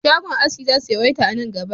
Shagon aski za su yawaita a nan gaba